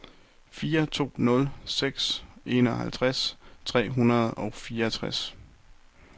fire to nul seks enoghalvtreds tre hundrede og fireogtres